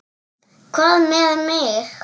Hvað með mig?